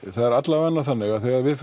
það er allavega þannig að þegar við